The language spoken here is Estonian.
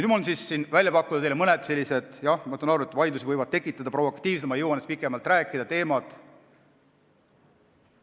Mul on pakkuda teile mõned, jah, ma saan aru, et provokatiivsed – ma ei jõua neist pikemalt rääkida – teemad.